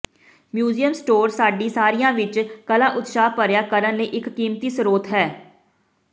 museum store ਸਾਡੇ ਸਾਰਿਆਂ ਵਿਚ ਕਲਾ ਉਤਸ਼ਾਹ ਭਰਿਆ ਕਰਨ ਲਈ ਇੱਕ ਕੀਮਤੀ ਸਰੋਤ ਹੈ